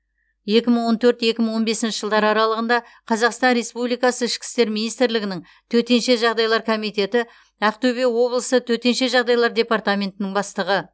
екі мың он төрт екі мың он бесінші жылдар аралығында қазақстан республикасы ішкі істер министрлігінің төтенше жағдайлар комитеті ақтөбе облысы төтенше жағдайлар департаментінің бастығы